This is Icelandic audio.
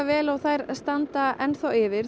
vel en þær standa enn yfir